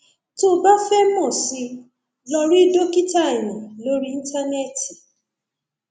tó o bá fẹ mọ sí i lọ rí dókítà eyín lórí íńtánẹẹtì